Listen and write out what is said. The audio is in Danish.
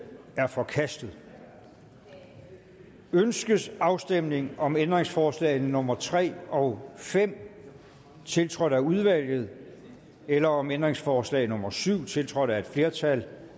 er forkastet ønskes afstemning om ændringsforslagene nummer tre og fem tiltrådt af udvalget eller om ændringsforslag nummer syv tiltrådt af et flertal